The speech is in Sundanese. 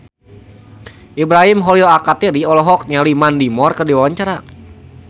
Ibrahim Khalil Alkatiri olohok ningali Mandy Moore keur diwawancara